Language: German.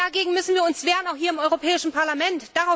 Dagegen müssen wir uns wehren auch hier im Europäischen Parlament!